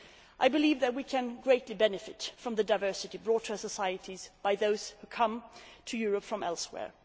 I believe that we can greatly benefit from the diversity brought to our societies by those who come to Europe from elsewhere.